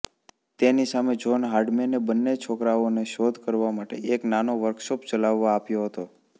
તેની સામે જોહ્ન હર્ડમેને બન્ને છોકરાઓને શોધ કરવા માટે એક નાનો વર્કશોપ ચલાવવા આપ્યો હતો